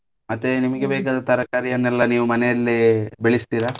ಮತ್ತೆ ನಿಮಿಗೆ ಬೇಕಾದ ತರಕಾರಿಯನೆಲ್ಲ ನೀವ್ ಮನೆಯಲ್ಲೇ ಬೆಳಿಸ್ತೀರಾ?